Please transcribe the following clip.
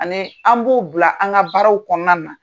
Ani an b'o bila an ka baaraw kɔnɔna na.